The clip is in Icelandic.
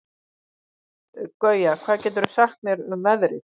Gauja, hvað geturðu sagt mér um veðrið?